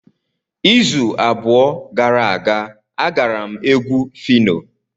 Izu abụọ gara aga, agara m egwu Phyno.